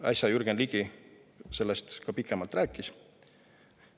Äsja Jürgen Ligi sellest ka pikemalt rääkis.